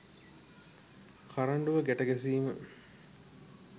කරඬුව ගැට ගැසීම